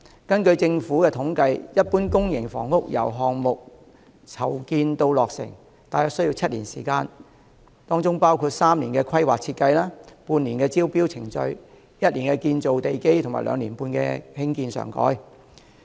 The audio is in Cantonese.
根據政府的統計，一般公營房屋由項目籌建至落成，大約需時7年，包括3年規劃設計、半年招標程序、1年建造地基和兩年半興建上蓋。